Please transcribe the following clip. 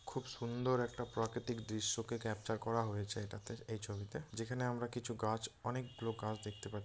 খুব সুন্দর একটা প্রাকিতিক দৃশ্যকে ক্যাপচার করা হয়েছে এটা তে এই ছবিতে যেখানে আমরা কিছু গাছ অনেকগুলো গাছ দেখতে পাচ--